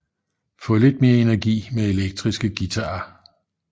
Få lidt mere energi med elektriske guitarer